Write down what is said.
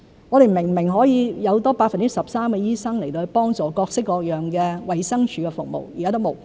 我們明明可以有多 13% 的醫生去幫助提供各式各樣的衞生署服務，現時也沒有。